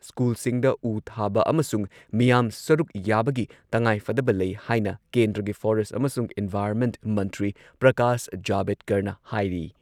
ꯁ꯭ꯀꯨꯜꯁꯤꯡꯗ ꯎ ꯊꯥꯕ ꯑꯃꯁꯨꯡ ꯃꯤꯌꯥꯝ ꯁꯔꯨꯛ ꯌꯥꯕꯒꯤ ꯇꯉꯥꯏꯐꯗꯕ ꯂꯩ ꯍꯥꯏꯅ ꯀꯦꯟꯗ꯭ꯔꯒꯤ ꯐꯣꯔꯦꯁꯠ ꯑꯃꯁꯨꯡ ꯏꯟꯚꯥꯏꯔꯟꯃꯦꯟꯠ ꯃꯟꯇ꯭ꯔꯤ ꯄ꯭ꯔꯀꯥꯁ ꯖꯥꯚꯦꯗꯀꯔꯅ ꯍꯥꯏꯔꯤ ꯫